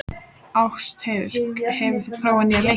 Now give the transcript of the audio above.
Ástheiður, hefur þú prófað nýja leikinn?